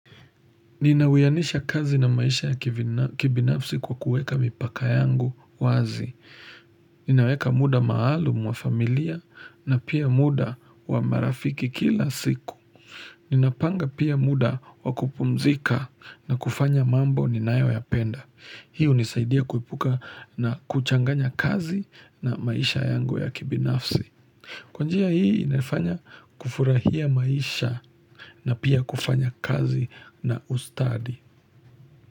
Ninawiyanisha kazi na maisha ya kibinafsi kwa kuweka mipaka yangu wazi. Ninaweka muda maalumu wa familia na pia muda wa marafiki kila siku. Ninapanga pia muda wa kupumzika na kufanya mambo ni nayo ya penda. Hii hunisaidia kuepuka na kuchanganya kazi na maisha yangu ya kibinafsi. Kwanjia hii inafanya kufurahia maisha na pia kufanya kazi na ustadi.